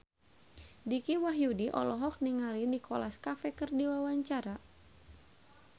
Dicky Wahyudi olohok ningali Nicholas Cafe keur diwawancara